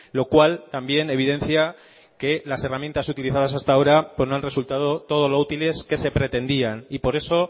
lo cual también evidencia que las herramientas utilizadas hasta ahora no han resultado todo lo útiles que se pretendían y por eso